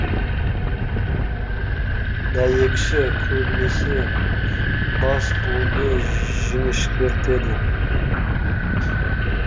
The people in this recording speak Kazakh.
дәйекші көбінесе бас буынды жіңішкертеді